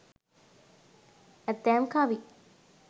ඇතැම් කවි